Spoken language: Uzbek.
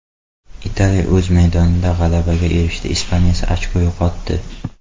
Italiya o‘z maydonida g‘alabaga erishdi, Ispaniya esa ochko yo‘qotdi.